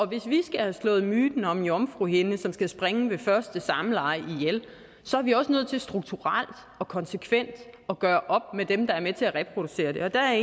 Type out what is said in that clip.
hvis vi skal have slået myten om jomfruhinden som skal sprænge ved første samleje ihjel så er vi også nødt til strukturelt og konsekvent at gøre op med dem der er med til at reproducere den og der